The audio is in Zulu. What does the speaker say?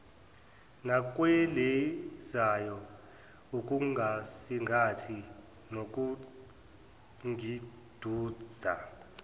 nakwelizayo ukungisingatha nokungidudza